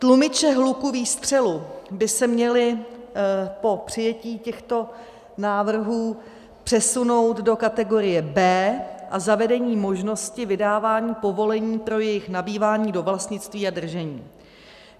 Tlumiče hluku výstřelu by se měly po přijetí těchto návrh přesunout do kategorie B a zavedení možnosti vydávání povolení pro jejich nabývání do vlastnictví a držení.